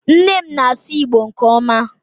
nne m na-asu igbo nke oma